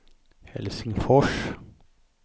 Helsingfors